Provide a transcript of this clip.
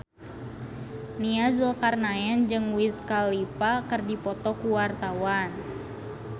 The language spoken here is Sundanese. Nia Zulkarnaen jeung Wiz Khalifa keur dipoto ku wartawan